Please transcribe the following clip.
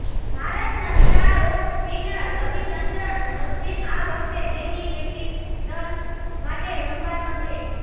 ભારતના star of spinner Ravichandran Ashwin આ વખતે દિલ્હી કેપિટલ્સ માટે રમવાનો છે